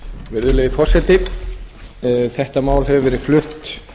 virðulegi forseti þetta mál hefur verið flutt